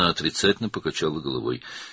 O, başını mənfi mənada yellədi.